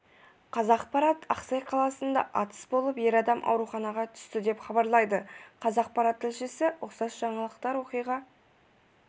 қазақпарат ақсай қаласында атыс болып ер адам ауруханаға түсті деп хабарлайды қазақпарат тілшісі ұқсас жаңалықтар оқиға